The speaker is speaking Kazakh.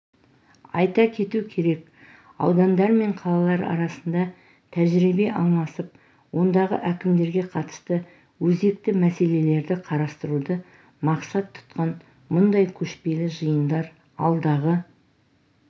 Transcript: айта кету керек аудандар мен қалалар арасында тәжірибе алмасып ондағы әкімдерге қатысты өзекті мәселелерді қарастыруды мақсат тұтқан мұндай көшпелі жиындар алдағы